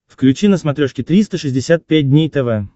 включи на смотрешке триста шестьдесят пять дней тв